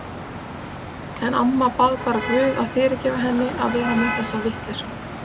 En amma bað bara guð að fyrirgefa henni að vera með þessa vitleysu.